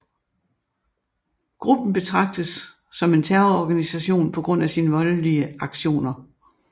Gruppen betrages som en terrororganisation på grund af sin voldelige aktioner